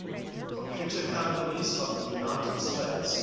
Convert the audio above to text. computer companies of the united states